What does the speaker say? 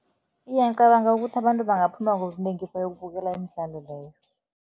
Iya, ngicabanga ukuthi abantu bangaphuma ngobunengi bayokubukela imidlalo leyo.